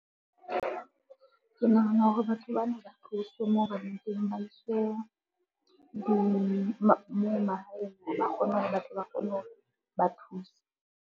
Ke nahana hore batho bana ba tloswe moo ba leng teng, ba iswe moo mahaeng, ba kgone hore ba tle ba kgone hore ba thuse.